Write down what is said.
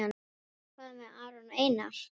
Hvað með Aron Einar?